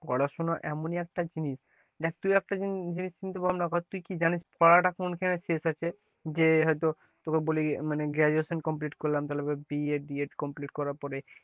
পড়াশোনা মনে একটা জিনিস, দেখ তুই একটা জিনিস কিন্তু ভাবনা কর তুই কি জানিস পড়া টা কোনখানে শেষ আছে, যে হয়তো তোকে বলি graduation complete করলাম তারপরে BEdBEd complete করার পরে,